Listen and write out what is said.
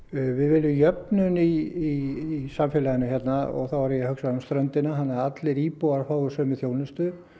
við viljum jöfnun í samfélaginu hérna þá er ég að hugsa um ströndina þannig að allir íbúar fái sömu þjónustu